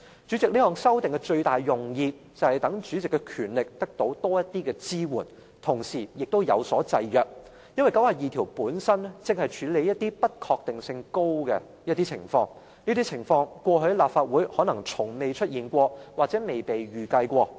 主席，這項修訂的最大用意，就是讓主席的權力得到多一點支援，同時也有所制約，因為第92條本身正是要處理一些不確定性較高的情況，而這些情況過去在立法會可能從未出現或從未被預計。